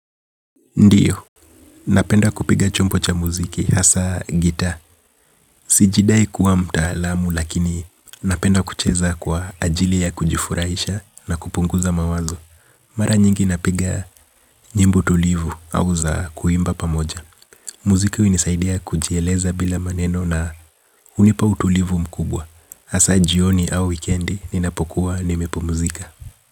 Ndiyo, napenda kupiga chumbo cha muziki, hasa gita. Sijidai kuwa mtaalamu lakini napenda kucheza kwa ajili ya kujifurahisha na kupunguza mawazo. Mara nyingi napiga nyimbo tulivu au za kuimba pamoja. Muziki hunisaidia kujieleza bila maneno na hunipa utulivu mkubwa. Hasa jioni au weekendi ninapokuwa nimepumzika.